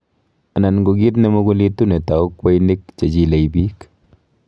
anan ko kiit nemugulitu netau kweinik chechilei piik